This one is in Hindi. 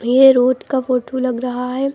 ये रोड का फोटू लग रहा है।